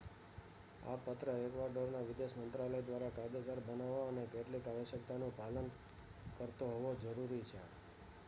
આ પત્ર એક્વાડોરના વિદેશ મંત્રાલય દ્વારા કાયદેસર બનવો અને કેટલીક આવશ્યકતાઓનું પાલન કરતો હોવો જરૂરી છે